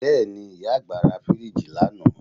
Bẹ́ẹ̀ni, ìyá àgbà ra fíríìjì lánàá